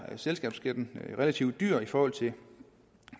af selskabsskatten i relativt dyr i forhold til